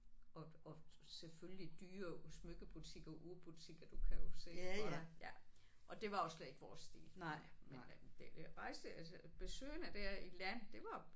Og og selvfølgelig dyre smykkebutikker urbutikker du kan jo se det for dig ja og det var jo slet ikke vores stil. Men det det rejse altså besøgene der i land det var